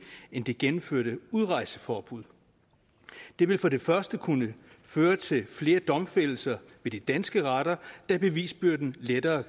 end det gennemførte udrejseforbud det vil for det første kunne føre til flere domfældelser ved de danske retter da bevisbyrden lettere